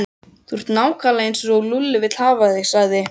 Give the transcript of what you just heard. Þú ert nákvæmlega eins og Lúlli vill hafa þig sagði